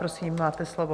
Prosím, máte slovo.